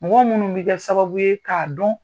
Mɔgɔ minnu bɛ kɛ sababu ye k'a dɔn